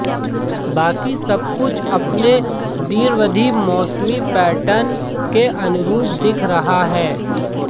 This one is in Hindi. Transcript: बाकी सब कुछ अपने दीर्घावधि मौसमी पैटर्न के अनुरूप दिख रहा है